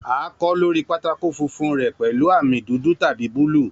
A kọ lori pátákó funfun rẹ pẹlu ami dudu tabi buluu.